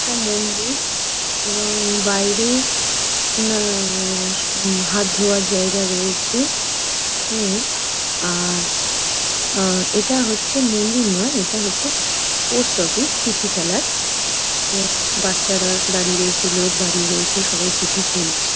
একটা মন্দির এবং বাইরে না-আ-আ-আ- উম হাত ধোয়ার জায়গা রয়েছে উম- আর আ এটা হচ্ছে মন্দির নয় এটা হচ্ছে পোস্ট অফিস চিঠি ফেলার এবং বাচ্চারা দাঁড়িয়ে রয়েছে লোক দাঁড়িয়ে রয়েছে। সবাই চিঠি ফেলছে।